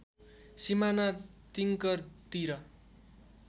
सिमाना तिङ्कर तिर